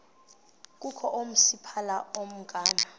kukho oomasipala abangama